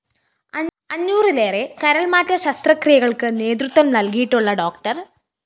അഞ്ഞൂറിലേറെ കരള്‍മാറ്റ ശസ്ത്രക്രിയകള്‍ക്ക് നേതൃത്വം നല്‍കിയിട്ടുള്ള ഡോ